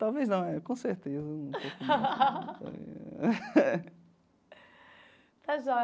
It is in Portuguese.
Talvez não, né com certeza um pouco de. Está joia.